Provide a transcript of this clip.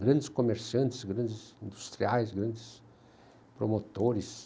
grandes comerciantes, grandes industriais, grandes promotores.